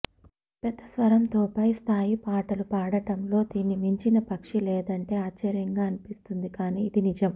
పెద్ద స్వరంతో పై స్థాయి పాటలు పాడడంలో దీన్ని మించిన పక్షి లేదంటే ఆశ్చర్యంగా అనిపిస్తుంది కాని ఇది నిజం